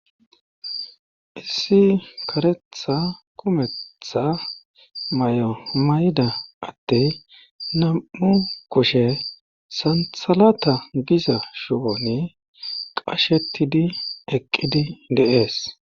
issi karetha kumetttha may7o mayda adey nam7u kushe santhalata giza shiwoni qashetidi eqqidi deees